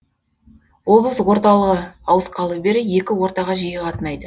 облыс орталығы ауысқалы бері екі ортаға жиі қатынайды